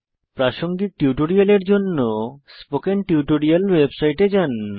প্রাসঙ্গিক টিউটোরিয়ালের জন্য স্পোকেন টিউটোরিয়াল ওয়েবসাইটে যান